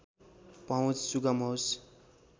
पहुँच सुगम होस्